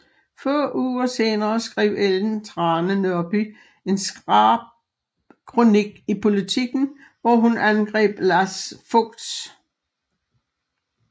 Få uger senere skrev Ellen Trane Nørby en skarp kronik i Politiken hvor hun angreb Lars Fogt